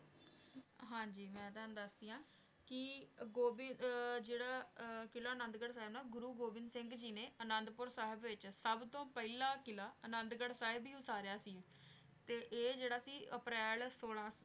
ਹਾਂਜੀ ਮੈਂ ਤਾਣੁ ਦਸਦੀ ਆਂ ਕੀ ਗੋਵਿੰਦ ਆਯ ਜੇਰਾ ਕਿਲਾ ਅਨਾਦ ਗਢ਼ ਦਾ ਆਯ ਨਾ ਗੁਰੂ ਗੋਵਿੰਦ ਸਿੰਘ ਜੀ ਨੇ ਅਨਾਦ ਪੁਰ ਸਾਹਿਬ ਦੇ ਵਿਚ ਸਬ ਤੋਂ ਪਹਲਾ ਕਿਲਾ ਅਨਾਦ ਪੁਰ ਸਾਹਿਬ ਈ ਉਤਾਰਯ ਸੀ ਤੇ ਈਯ ਜੇਰਾ ਸੀ ਅਪ੍ਰੈਲ ਸੋਲਾਂ